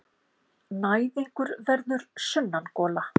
Næðingur verður sunnangola.